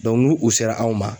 ni u sera anw ma